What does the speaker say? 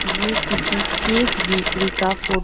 ये किसी cake bakery का फोटो --